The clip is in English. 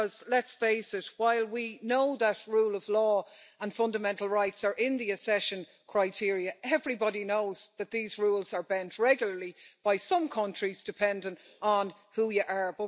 Because, let's face it, while we know that rule of law and fundamental rights are in the accession criteria, everybody knows that these rules are bent regularly by some countries, depending on who you are.